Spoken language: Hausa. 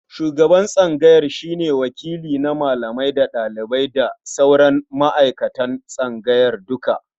Shuban tsangaya shi ne wakili na malamai da ɗalibai da ma sauran ma'aikatan tsangaya duka.